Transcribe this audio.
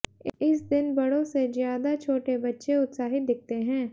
इस दिन बड़ों सेज्यादा छोटे बच्चे उत्साहित दिखते हैं